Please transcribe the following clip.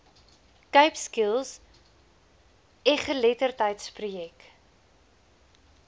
cape skills egeletterdheidsprojek